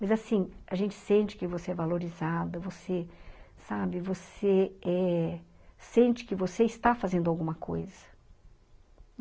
Mas assim, a gente sente que você é valorizada, você sabe, você eh sente que você está fazendo alguma coisa.